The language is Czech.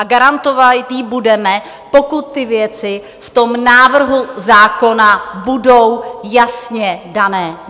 A garantovat ji budeme, pokud ty věci v tom návrhu zákona budou jasně dané.